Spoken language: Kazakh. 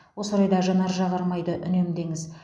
осы орайда жанар жағармайды үнемдеңіз